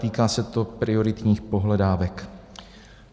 Týká se to prioritních pohledávek.